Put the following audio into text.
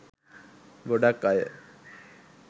ගොඩක් අය